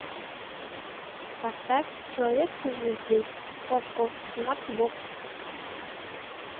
поставь человек со звезды окко смарт бокс